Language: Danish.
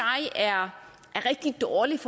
er rigtig dårligt